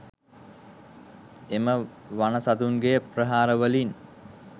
එම වන සතුන්ගේ ප්‍රහාරවලින්